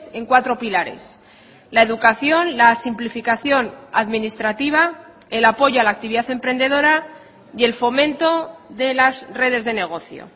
en cuatro pilares la educación la simplificación administrativa el apoyo a la actividad emprendedora y el fomento de las redes de negocio